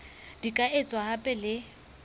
di ka etswa hape le